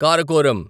Karakoram